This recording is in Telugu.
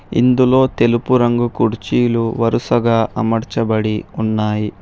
ఇందులో తెలుపు రంగు కుర్చీలు వరుసగా అమర్చబడి ఉన్నాయి.